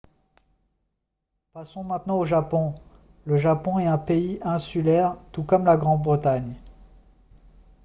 passons maintenant au japon le japon est un pays insulaire tout comme la grande-bretagne